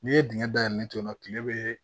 N'i ye dingɛ dayɛlɛ ni to yen nɔ kile bɛ